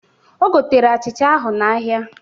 O gotere achịcha ahụ n'ahịa